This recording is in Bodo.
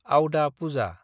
आवदा पुजा